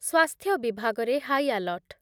ସ୍ୱାସ୍ଥ୍ୟ ବିଭାଗ ରେ ହାଇଆଲର୍ଟ